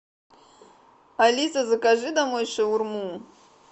алиса закажи домой шаурму